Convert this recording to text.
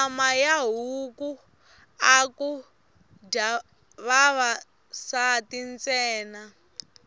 nyama ya huku aku dya vavasati ntsena